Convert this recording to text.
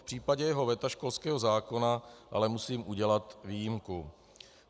V případě jeho veta školského zákona ale musím udělat výjimku.